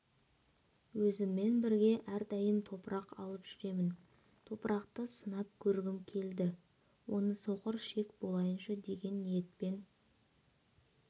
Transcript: өзіммен бірге әрдайым топырақ алып жүремін топырақты сынап көргім келді оны соқыр ішек болайыншы деген ниетпен